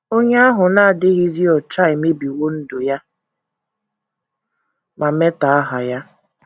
Onye ahụ na - adịghịzi ọcha emebiwo ndụ ya ma metọọ aha ya.